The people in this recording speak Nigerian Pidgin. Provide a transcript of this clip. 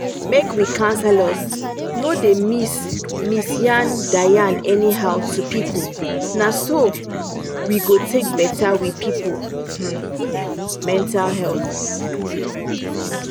make we counselors no da miss miss yan da yan anyhow to people na so we go take better we people mental health